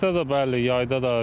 Qışda da bəli, yayda da.